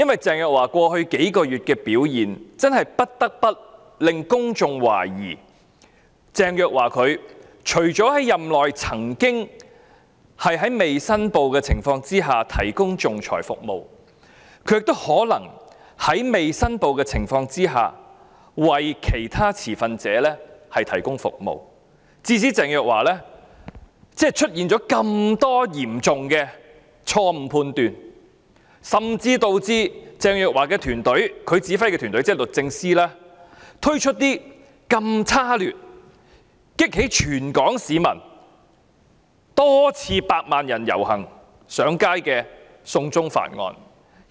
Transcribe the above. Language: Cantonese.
鄭若驊過去幾個月的表現的確引起公眾懷疑，她除了在任內未經申報提供仲裁服務，還可能在未經申報的情況下，為其他持份者提供服務，致使她犯了這麼多嚴重錯判，甚至導致她率領的團隊推出極度差劣的"送中條例"，激起全港多次百萬人上街遊行反對。